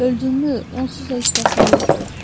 Öldümmü, onsuz da heç kəsim yoxdur.